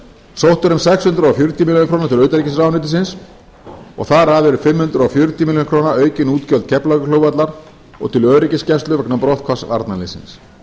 sótt er um sex hundruð fjörutíu milljónir króna til utanríkisráðuneytisins þar af eru fimm hundruð fjörutíu milljónir króna aukin útgjöld keflavíkurflugvallar og til öryggisgæslu vegna brotthvarfs varnarliðsins